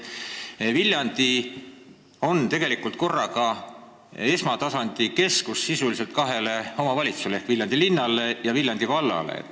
Viljandi on esmatasandi keskus sisuliselt kahele omavalitsusele ehk Viljandi linnale ja Viljandi vallale.